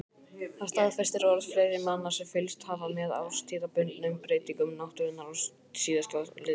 Það staðfestir orð fleiri manna sem fylgst hafa með árstíðabundnum breytingum náttúrunnar síðastliðin ár.